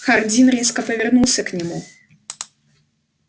хардин резко повернулся к нему